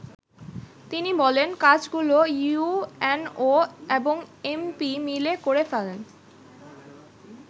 তিনি বলেন, “ কাজগুলো ইউএনও এবং এমপি মিলে করে ফেলেন।